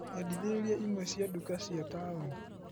Nyendithĩrĩria imwe cia nduka cia taũni.